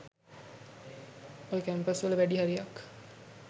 ඔය කැම්පස් වල වැඩි හරියක්